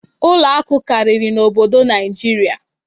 ụlọ akụ karịrị n'obodo Naịjirịa.